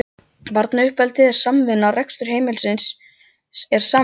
Barnauppeldið er samvinna, rekstur heimilisins er samvinna.